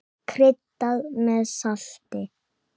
Kryddað með salti.